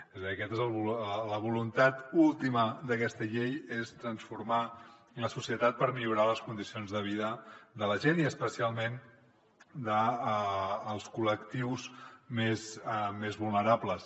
és a dir la voluntat última d’aquesta llei és transformar la societat per millorar les condicions de vida de la gent i especialment dels col·lectius més vulnerables